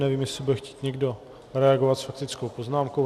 Nevím, jestli bude chtít někdo reagovat s faktickou poznámku.